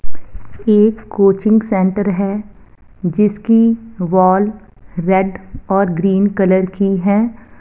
एक coaching centre है जिसकी वॉल रेड और ग्रीन कलर की है।